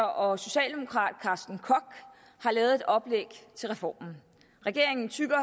og socialdemokrat carsten koch har lavet et oplæg til reformen regeringen tygger